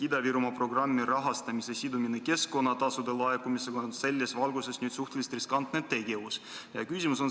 Ida-Virumaa programmi rahastamise sidumine keskkonnatasude laekumisega on selles valguses suhteliselt riskantne tegevus.